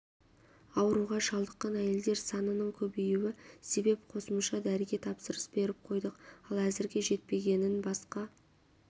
ауруға шалдыққан әйелдер санының көбейюі себеп қосымша дәріге тапсырыс беріп қойдық ал әзірге жетпегенін басқа